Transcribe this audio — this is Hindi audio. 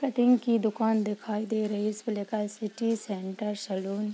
कटिंग की दुकान दिखाई दे रही इस पे लिखा है सिटी सेंटर सलून।